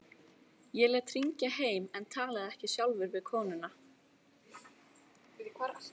Ég lét hringja heim en talaði ekki sjálfur við konuna.